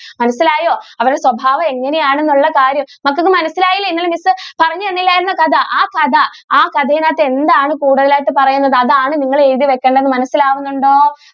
മനസ്സിലായോ അവരുടെ സ്വഭാവം എങ്ങനെ ആണെന്നുള്ള കാര്യം മക്കൾക്ക് മനസിലായില്ലേ ഇന്നലെ miss പറഞ്ഞു തന്നില്ലാർന്നോ കഥ ആ കഥയിനകത്തു എന്താണ് കൂടുതൽ ആയിട്ട് പറയുന്നത് അതാണ് നിങ്ങൾ എഴുതി വെക്കേണ്ടത് മനസിലാകുന്നുണ്ടോ?